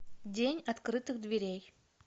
день открытых дверей